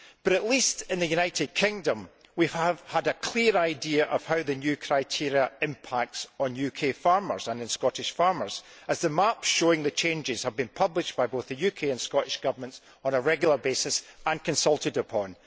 At least in the United Kingdom we have had a clear idea of how the new criteria impact on UK farmers and on Scottish farmers, as the maps showing the changes have been published by both the UK and Scottish Governments on a regular basis and consulted upon.